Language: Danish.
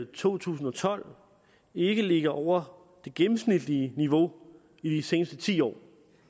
to tusind og tolv ikke ligger over det gennemsnitlige niveau i de seneste ti år